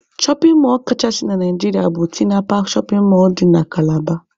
Shọpin mọlụ kachasị na Naijiria bụ Tinapa shọpin mọlụ dị na Kalaba.